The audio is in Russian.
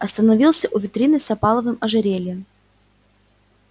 остановился у витрины с опаловым ожерельем